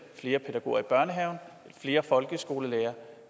flere pædagoger i børnehaverne flere folkeskolelærere